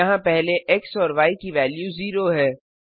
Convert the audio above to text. यहाँ पहले एक्स और य की वेल्यू 0 है